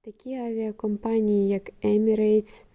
такі авіакомпанії як емірейтс